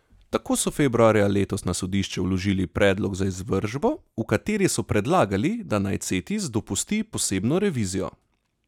Tako so februarja letos na sodišče vložili predlog za izvršbo, v kateri so predlagali, da naj Cetis dopusti posebno revizijo.